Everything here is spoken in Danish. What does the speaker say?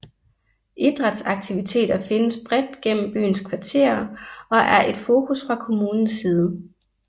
Idrætsaktiviteter findes bredt gennem byens kvarterer og er et fokus fra kommunens side